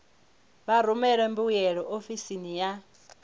vha rumele mbuyelo ofisini ya